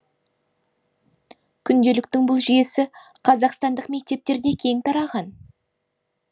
күнделіктің бұл жүйесі қазақстандық мектептерде кең тараған